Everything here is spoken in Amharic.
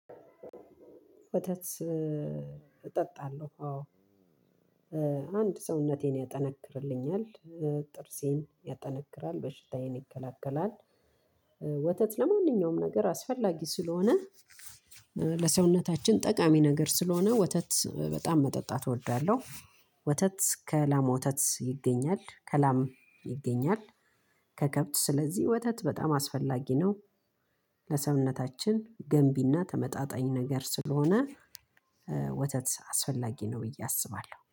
ወተት አጠጣለው አወ አንድ ሰውነቴን ያጠነክርልኛል ጥርሴን ያጠነክራል በሽታዬን ይከላከላል። ወተት ለማንኛውም ነገር አስፈላጊ ስለሆነ ለሰውነታችን ጠቃሚ ነገር ስለሆነ ወተት በጣም መጠጣት እወዳለሁ። ወተት ከላም ወተት ይገኛል ከላም ይገኛል ከከብት ስለዚህ ወተት በጣም አስፈላጊ ነው። ለሰውነታችን ገንቢና ተመጣጣኝ ነገር ስለሆነ ወተት አስፈላጊ ነው ብዬ አስባለሁ